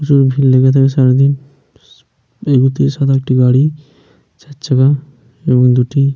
প্রচুর ভিড় লেগে থাকে সারাদিন। এই মুহর্তে সাদা একটি গাড়ি চার চাকা এবং দুটি--